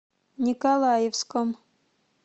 николаевском